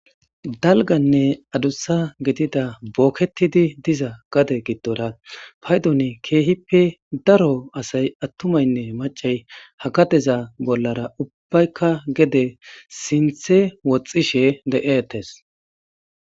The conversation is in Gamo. Dalganne adussa gidida booketidi diza gade giddora paydon keehippe daro asay attumaynne macay hakadeza bollara ubbaykka gede sinthe woxxishe de7ettes